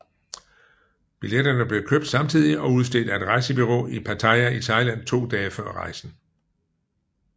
Billetterne blev købt samtidig og udstedt af et rejsebureau i Pattaya i Thailand to dage før rejsen